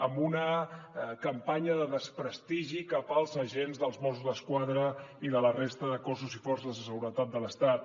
amb una campanya de desprestigi cap als agents dels mossos d’esquadra i de la resta de cossos i forces de seguretat de l’estat